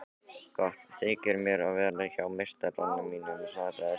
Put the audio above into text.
Gott þykir mér að vera hjá meistara mínum svaraði Sæmundur.